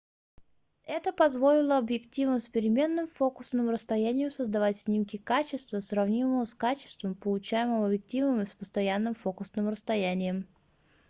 это позволило объективам с переменным фокусным расстоянием создавать снимки качества сравнимого с качеством получаемым объективами с постоянным фокусным расстоянием